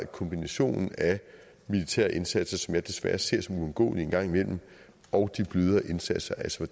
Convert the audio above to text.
kombinationen af de militære indsatser som jeg desværre ser som uundgåelige en gang imellem og de blødere indsatser altså